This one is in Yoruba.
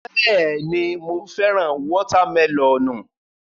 Bẹ́ẹ̀ni, mo fẹ́ràn wọ́tá mẹlọ̀nù.